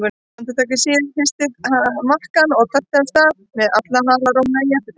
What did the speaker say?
Andartaki síðar hristi það makkann og tölti af stað með alla halarófuna í eftirdragi.